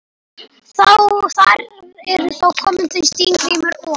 Þar eru þá komin þau Steingrímur og